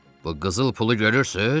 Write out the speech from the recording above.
Bu qızıl pulu görürsüz?